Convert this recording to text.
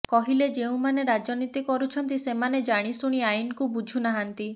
କହିଲେ ଯେଉଁମାନେ ରାଜନୀତି କରୁଛନ୍ତି ସେମାନେ ଜାଣିଶୁଣି ଆଇନକୁ ବୁଝୁ ନାହାନ୍ତି